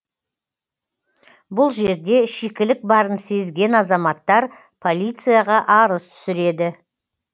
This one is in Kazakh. бұл жерде шикілік барын сезген азаматтар полицияға арыз түсіреді